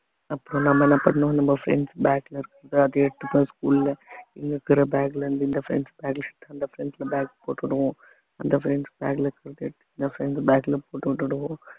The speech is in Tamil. அப்புறம் நம்ம என்ன பண்ணணும் நம்ம friends bag ல இருக்கிறது அதை எடுத்துப்போம் school ல இங்க இருக்கிற bag ல இருந்து இந்த friends bag அந்த friends bag போட்டுடுவோம் அந்த friends bag ல சொல்லிட்டு இந்த friends bag ல போட்டு விட்டுடுவோம்